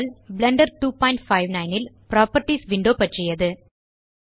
Blender 259 ல் properties window பற்றியது